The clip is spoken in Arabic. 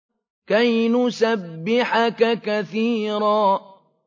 كَيْ نُسَبِّحَكَ كَثِيرًا